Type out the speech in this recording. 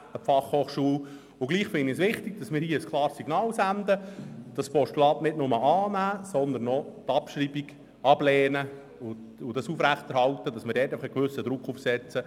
Trotzdem finde ich es wichtig, ein klares Signal zu auszusenden und das Postulat nicht nur anzunehmen, sondern auch die Abschreibung abzulehnen und damit einen gewissen Druck auszuüben.